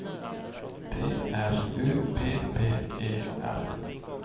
T R U P P E R